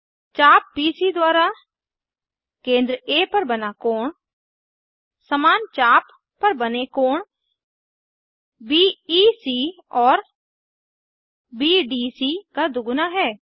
चाप बीसी द्वारा केंद्र आ पर बना कोण समान चाप पर बने कोण बीईसी और बीडीसी का दुगुना है